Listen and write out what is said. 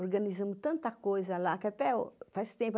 Organizamos tanta coisa lá que até faz tempo.